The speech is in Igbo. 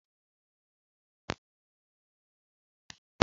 Emeghela ite ahụ gị bụ ewu!